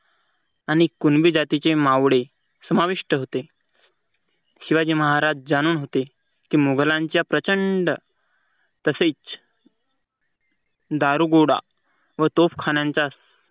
आणि कुणबी जातीचे मावळे समाविष्ट होते. शिवाजी महाराज जाणून होते की मुघलांच्या प्रचंड तसेच दारूगोळा व तोफखान्यांचा